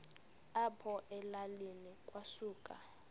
apho elalini kwasuka